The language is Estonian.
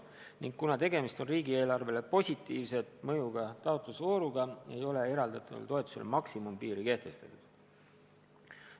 Ning kuna tegemist on riigieelarvele positiivselt mõjuva taotlusvooruga, ei ole eraldatavale toetusele maksimumpiiri kehtestatud.